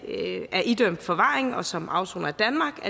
er idømt forvaring og som afsoner i danmark